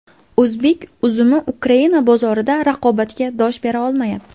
O‘zbek uzumi Ukraina bozorida raqobatga dosh bera olmayapti.